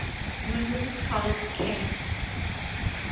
muslim scholars came